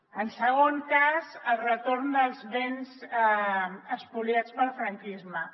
en segon cas el retorn dels béns espoliats pel franquisme